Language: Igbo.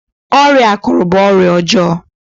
ọrịa akuru bu ọrịa ọjọọ